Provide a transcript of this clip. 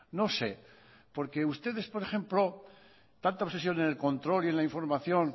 no sé porque ustedes por ejemplo tanta obsesión en el control y en la información